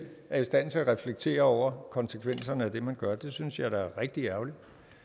er i stand til at reflektere over konsekvenserne af det man gør synes jeg er rigtig ærgerligt